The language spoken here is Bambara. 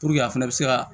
a fɛnɛ bɛ se ka